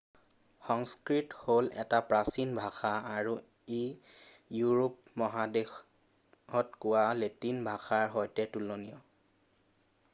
সংস্কৃত হ'ল এটা প্ৰাচীন ভাষা আৰু ই ইউৰোপ মহাদেশত কোৱা লেটিন ভাষাৰ সৈতে তুলনীয়